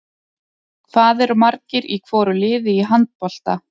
Hvað eru margir í hvoru liði í handbolta?